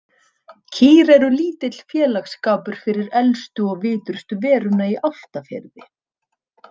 Kýr eru lítill félagsskapur fyrir elstu og vitrustu veruna í Álftafirði.